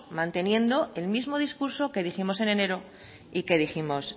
manteniendo el mismo discurso que dijimos en enero y que dijimos